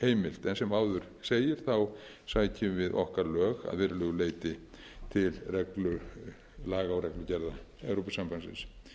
heimilt en sem áður segir sækjum við okkar lög að verulegu leyti til laga og reglugerða evrópusambandsins